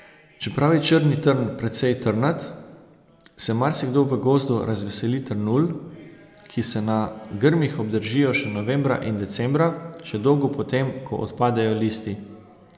Čeprav je črni trn precej trnat, se marsikdo v gozdu razveseli trnulj, ki se na grmih obdržijo še novembra in decembra, še dolgo potem, ko odpadejo listi.